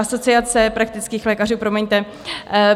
Asociace praktických lékařů, promiňte.